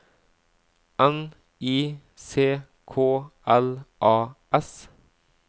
N I C K L A S